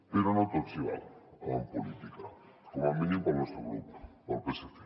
però no tot s’hi val en política com a mínim per al nostre grup per al psc